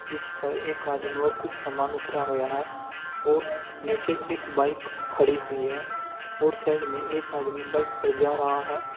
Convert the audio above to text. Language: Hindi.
जिस पर एक आदमी और कुछ सामान उतरा होया है और नीचे के एक बाइक खड़ी हुई है और साइड में एक आदमी बाइक पर जा रहा है।